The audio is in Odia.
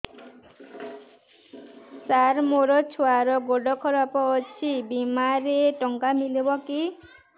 ସାର ମୋର ଛୁଆର ଗୋଡ ଖରାପ ଅଛି ବିମାରେ ଟଙ୍କା ମିଳିବ କି